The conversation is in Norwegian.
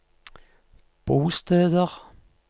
bosteder